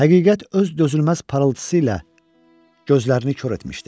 Həqiqət öz dözülməz parıltısı ilə gözlərini kor etmişdi.